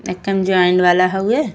एखे ज्वाइन वाला हउए।